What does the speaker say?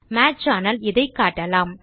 match ஆனால் இதை காட்டலாம்